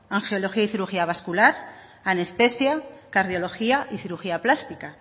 angiología y cirugía vascular anestesia cardiología y cirugía plástica